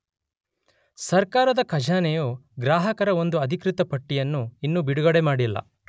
ಸರ್ಕಾರದ ಖಜಾನೆಯು ಗ್ರಾಹಕರ ಒಂದು ಅಧಿಕೃತ ಪಟ್ಟಿಯನ್ನು ಇನ್ನೂ ಬಿಡುಗಡೆಮಾಡಿಲ್ಲ.